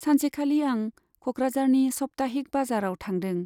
सानसेखालि आं क'कराझारनि सप्ताहिक बाजाराव थांदों।